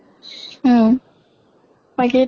উম বাকী